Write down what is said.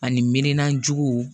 Ani minan juguw